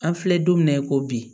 An filɛ don min na i ko bi